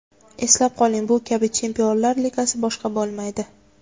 Eslab qoling, bu kabi Chempionlar Ligasi boshqa bo‘lmaydi.